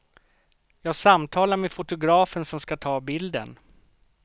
Jag samtalar med fotografen som ska ta bilden.